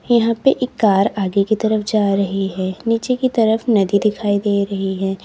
यहां पे एक कार आगे की तरफ जा रही है नीचे की तरफ नदी दिखाई दे रही है।